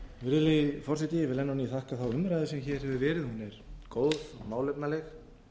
ný þakka umræðuna sem hér hefur verið hún er góð og málefnaleg